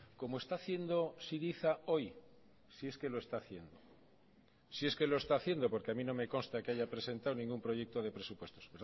como está haciendo syriza hoy si es que lo está haciendo si es que lo está haciendo porque a mí no me consta que haya presentado ningún proyecto de presupuestos